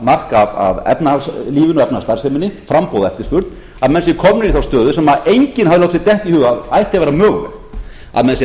mark af efnahagslífinu efnahagsstarfseminni framboði og eftirspurn að menn séu komnir í þá stöðu sem enginn hafði látið sér detta í hug að ætti að vera mögulegt að menn séu að